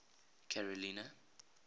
carolina